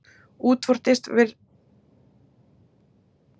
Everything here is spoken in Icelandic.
Útvortis virðist heldur eldra tökuorð í íslensku.